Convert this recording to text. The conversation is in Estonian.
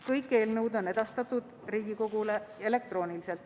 Kõik eelnõud on edastatud Riigikogule elektrooniliselt.